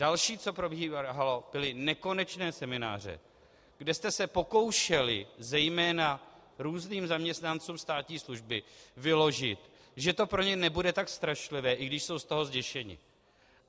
Další, co probíhalo, byly nekonečné semináře, kde jste se pokoušeli zejména různým zaměstnancům státní služby vyložit, že to pro ně nebude tak strašlivé, i když jsou z toho zděšeni.